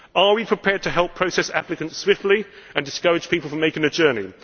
Are we prepared to help process applications swiftly and discourage people from making a journey?